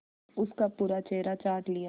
उसका पूरा चेहरा चाट लिया